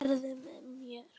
Heru með mér.